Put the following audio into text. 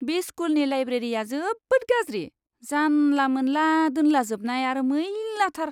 बे स्कुलनि लाइब्रेरिया जोबोद गाज्रि, जानला मोनला दोनलाजोबनाय आरो मैलाथार!